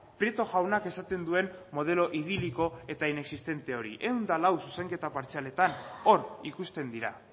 prieto jaunak esaten duen modelo idiliko eta inexistente hori ehun eta lau zuzenketa partzialetan hor ikusten dira